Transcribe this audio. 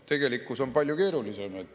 Tegelikkus on palju keerulisem.